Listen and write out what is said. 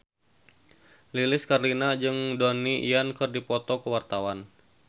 Lilis Karlina jeung Donnie Yan keur dipoto ku wartawan